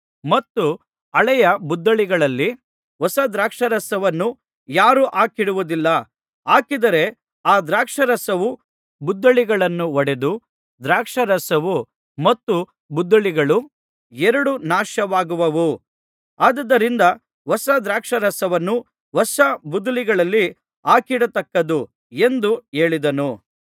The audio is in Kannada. ಮತ್ತು ಹಳೆಯ ಬುದ್ದಲಿಗಳಲ್ಲಿ ಹೊಸ ದ್ರಾಕ್ಷಾರಸವನ್ನು ಯಾರೂ ಹಾಕಿಡುವುದಿಲ್ಲ ಹಾಕಿದರೆ ಆ ದ್ರಾಕ್ಷಾರಸವು ಬುದ್ದಲಿಗಳನ್ನು ಒಡೆದು ದ್ರಾಕ್ಷಾರಸವು ಮತ್ತು ಬುದ್ದಲಿಗಳು ಎರಡೂ ನಾಶವಾಗುವವು ಆದುದರಿಂದ ಹೊಸ ದ್ರಾಕ್ಷಾರಸವನ್ನು ಹೊಸ ಬುದ್ದಲಿಗಳಲ್ಲಿ ಹಾಕಿಡತಕ್ಕದ್ದು ಎಂದು ಹೇಳಿದನು